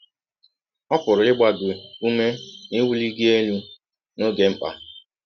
Ọ pụrụ ịgba gị ụme na iwụli gị elụ n’ọge mkpa.